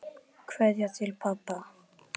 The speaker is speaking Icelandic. Kveðja til pabba.